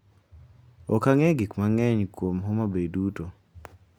Ok ang’eyo gik mang’eny kuom Homabay duto,